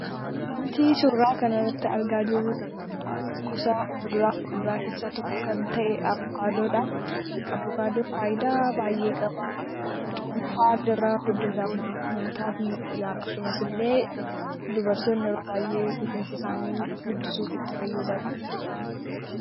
Wanti suuraa kana irratti argaa jirru gosa kuduraaf muduraa keessaa tokko kan ta'e avokaadoodha. Avokaadoon faayidaa hedduu qaba. Cuunfaan irraa hojjetama. Nyaataaf ni oola. Akkasuma illee dubartoonni yeroo baay'ee rifeensa isaanii guddisuuf itti fayyadamu.